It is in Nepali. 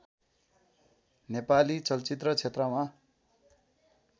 नेपाली चलचित्र क्षेत्रमा